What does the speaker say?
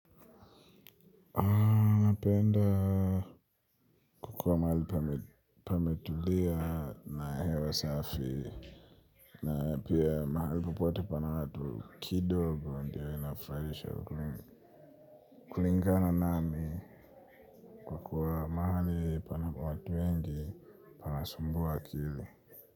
Penda kukuwa mahali pametulia na hewa safi. Na pia mahali popote pana watu kidogo ndiyo inafurahisha. Kulingana nami kwa kuwa mahali pana watu wengi panasumbua akili.